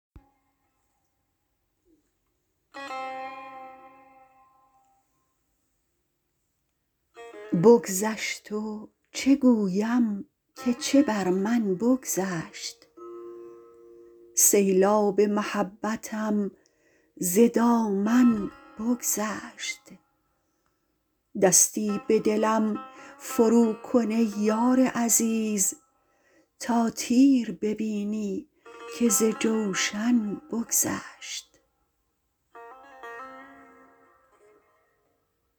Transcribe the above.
بگذشت و چه گویم که چه بر من بگذشت سیلاب محبتم ز دامن بگذشت دستی به دلم فرو کن ای یار عزیز تا تیر ببینی که ز جوشن بگذشت